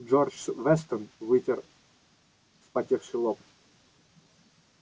джордж вестон вытер вспотевший лоб